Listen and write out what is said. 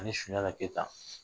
Ani Sunjata Keyita